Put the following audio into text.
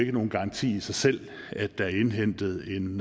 er nogen garanti i sig selv at der er indhentet en